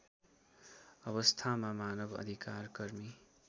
अवस्थामा मानव अधिकारकर्मी